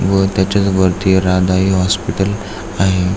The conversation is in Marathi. व त्याच्याच वरती राधाई हॉस्पिटल आहे.